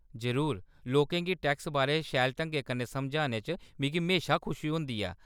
जरूर, लोकें गी टैक्स बारै शैल ढंगै कन्नै समझाने च मिगी म्हेशा खुशी होंदी ऐ।